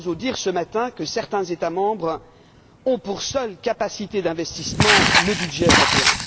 Barroso dire ce matin que certains États membres ont pour seule capacité d'investissement le budget européen.